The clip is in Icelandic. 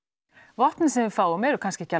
vopnin sem við fáum eru kannski ekki